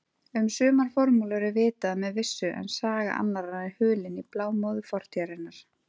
Um sumar formúlur er vitað með vissu en saga annarra er hulin í blámóðu fortíðarinnar.